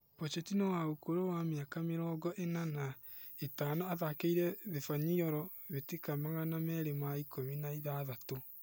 Bocetino wa ũkũrũ wa mĩaka mĩrongo ĩna na ĩtano athakĩire Thibanyoro mbĩtĩka magana merĩ ma ikũmi na ithathatũ.